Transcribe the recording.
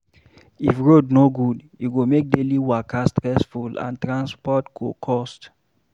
If road no good, e go make daily waka stressful and transport go cost